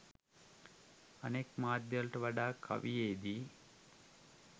අනෙක් මාධ්‍යවලට වඩා කවියේ දී